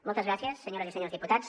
moltes gràcies senyores i senyors diputats